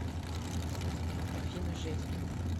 афина жесть